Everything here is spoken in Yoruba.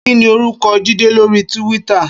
Kini órúkò Jide lóri túwìtá?